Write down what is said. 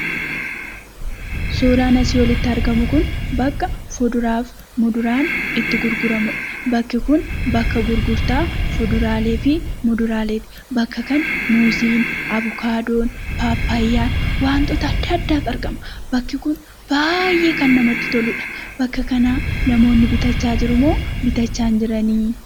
Suuraan asii olitti argamu kun bakka fuduraaf muduraan itti gurguramudha. Bakki kun bakka gurgurtaa fuduraalee fi muduraaleeti. Bakka kana muuzii, abuukaadoo, paappaayyaan, wantoota addaaaddatu argama. Bakki kun baay'ee kan namatti toludha. Bakka kanaa namoonni bitachaa jirumo?,bitachaa hin jirani?